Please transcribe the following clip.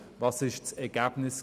Was war das Ergebnis?